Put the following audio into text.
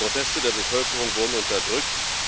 Proteste der Bevölkerung wurden unterdrückt